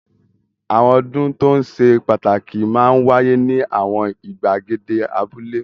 Àwọn ọdún tó ṣe pàtàkì máa ń wáyé ní àwọn ìgbàgede abúlé.